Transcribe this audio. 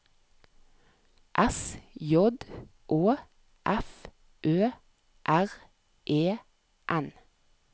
S J Å F Ø R E N